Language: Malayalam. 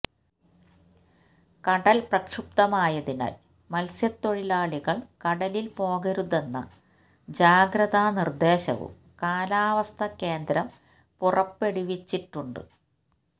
കടൽ പ്രക്ഷുബ്ധമായതിനാൽ മല്സ്യത്തൊഴിലാളികള് കടലില് പോകരുതെന്ന ജാഗ്രതാ നിര്ദ്ദേശവും കാലാവസ്ഥാ കേന്ദ്രം പുറപ്പെടുവിച്ചിട്ടുണ്ട്